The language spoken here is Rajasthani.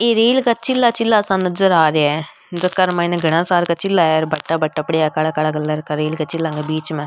ये रेल का चिला चिला सा नजर आ रिया है जेकर मई ने घना सार का चिल्ला है भाटा भाटा पड़या है काला काला रेल का चिला के बीच में।